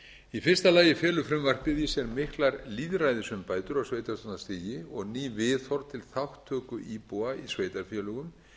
í fyrsta lagi felur frumvarpið í sér miklar lýðræðisumbætur á sveitarstjórnarstiginu og ný viðhorf til þátttöku íbúa í sveitarfélögum